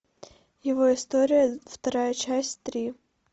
его история вторая часть три